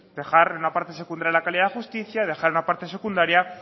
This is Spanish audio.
dejar en una parte secundaria la calidad de la justicia dejar en una parte secundaria